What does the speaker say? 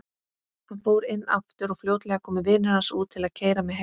Hann fór inn aftur og fljótlega komu vinir hans út til að keyra mig heim.